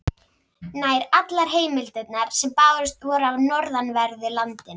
Nær allar heimildirnar sem bárust voru af norðanverðu landinu.